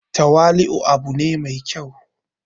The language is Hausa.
tawali'u u abu ne mai kyau